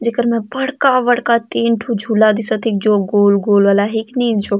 जेकर में बड़का बड़का तीन ठू झूला दिशत हे जो गोल गोल वाला अहय किनई --